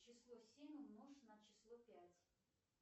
число семь умножь на число пять